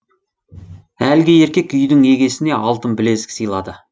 әлгі еркек үйдің егесіне алтын білезік сыйлады